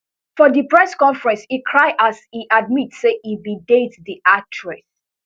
for di press conference e cry as e admit say e bin date di actress